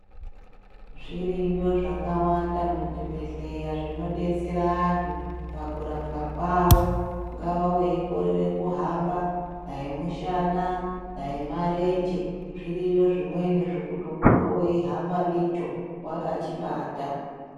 Zviriyo zvakawanda muzvibhedhlera zvinodetsera antu pakurapwa kwawo. Ungava weikorere kuhamba, dai mushana, dai marenje. Zviriyo zvimweni zvokuti unonga weihamba ndicho, wakachibata.